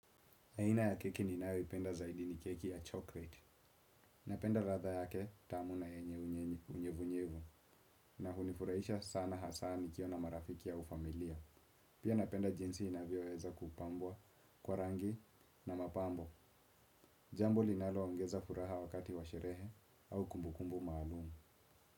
Aina ya keki ninayoipenda zaidi ni keki ya chocolate. Napenda radha yake tamu na yenye unyevunyevu. Na hunifuraisha sana hasa nikiwa na marafiki au familia. Pia napenda jinsi inavyoweza kupambwa, kwa rangi na mapambo. Jambo linaloongeza furaha wakati wa sherehe au kumbukumbu maalumu.